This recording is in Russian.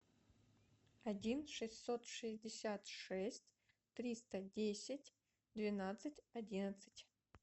один шестьсот шестьдесят шесть триста десять двенадцать одиннадцать